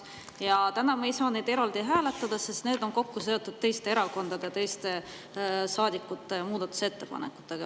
Ja täna me ei saa neid eraldi hääletada, sest need on kokku seotud teiste erakondade ja teiste saadikute ettepanekutega.